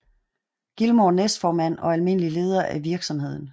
Gilmore næstformand og almindelig leder af virksomheden